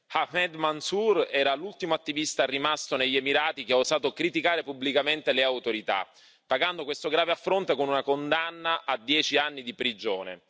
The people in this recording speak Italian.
Ahmed Mansoor era l'ultimo attivista rimasto negli Emirati che ha osato criticare pubblicamente le autorità, pagando questo grave affronto con una condanna a dieci anni di prigione.